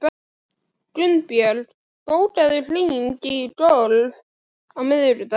Gunnbjörg, bókaðu hring í golf á miðvikudaginn.